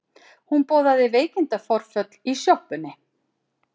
Hún boðaði veikindaforföll í sjoppunni.